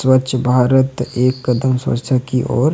स्वच्छ भारत एक कदम स्वच्छता की ओर --